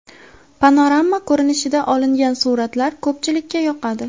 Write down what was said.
Panorama ko‘rinishda olingan suratlar ko‘pchilikka yoqadi.